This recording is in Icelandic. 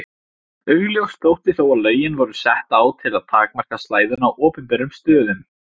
Augljóst þótti þó að lögin voru sett á til að takmarka slæðuna á opinberum stöðum.